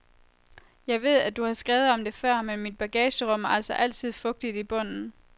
Jeg ved, at du har skrevet om det før, men mit bagagerum er altså altid fugtigt i bunden.